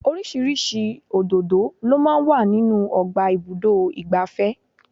Oríṣiríṣi òdòdó lọ máa ń wà nínú ọgbà ibùdó igbàfẹ́.